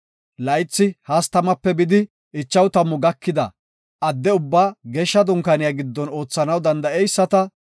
Laythi 30-50 gakida addeti ubbaa Geeshsha Dunkaaniya giddon oothanaw danda7eyisata